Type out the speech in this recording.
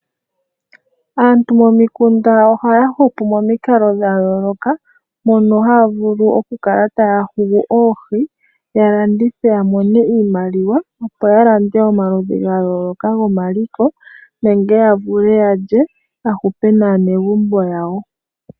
Aantu momikunda ohaya hupu momikalo dha yooloka mono haya vulu okukala taya hugu oohi ya landithe ya mone iimaliwa opo ya lande omaludhi ga yooloka gomaliko nenge ya vule yalye ya hupe naanegumbo yawo.